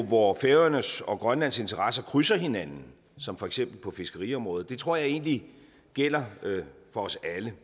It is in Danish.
hvor færøernes og grønlands interesser krydser hinanden som for eksempel på fiskeriområdet jeg tror egentlig det gælder for os alle